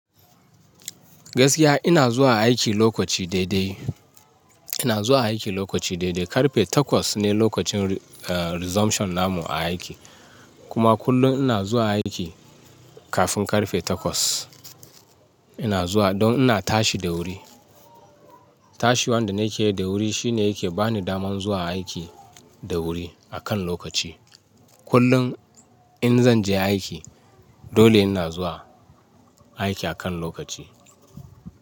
Gaskiya ina zuwa aiki lokaci daidai. Ina zuwa aiki lokaci daidai. Karfe takwas ne lokacin resumption namu a aiki. Kuma kullum ina zuwa aiki kafin karfe takwas. Ina zuwa don ina tashi da wuri. Tashiwan da nake yi da wuri shine yake ba ni daman zuwa aiki da wuri akan lokaci. Kullum in zan je aiki dole ina zuwa aiki akan lokaci.